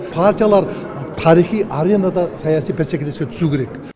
партиялар тарихи аренада саяси бәсекелеске түсу керек